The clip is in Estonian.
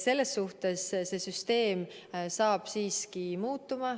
Selles suhtes see süsteem siiski muutub.